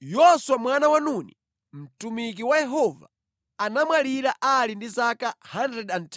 Yoswa mwana wa Nuni, mtumiki wa Yehova, anamwalira ali ndi zaka 110,